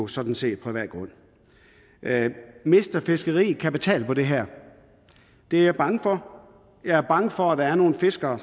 sådan set privat grund mister fiskeriet kapital på det her det er jeg bange for jeg er bange for at der er nogle fiskere